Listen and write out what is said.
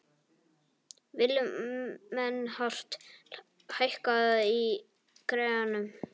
Vilmenhart, hækkaðu í græjunum.